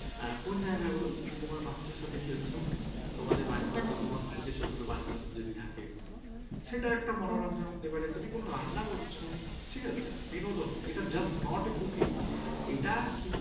তুমি কোনো রান্না করছ ঠিকাছে, বিনোদন এটা just not a cooking, এটা কিন্তু